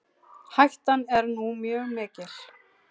Hættan er nú mjög mikil.